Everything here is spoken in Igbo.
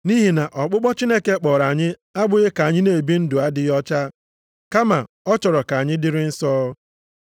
Nʼihi na ọkpụkpọ Chineke kpọrọ anyị abụghị ka anyị na-ebi ndụ adịghị ọcha kama ọ chọrọ ka anyị dịrị nsọ.